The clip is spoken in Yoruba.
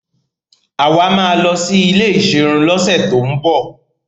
Àwa máa lọ sí ilé ìserun lọ́sẹ̀ tín bọ̀.